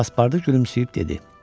Passportu gülümsəyib dedi: